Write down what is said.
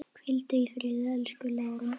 Hvíldu í friði, elsku Lára.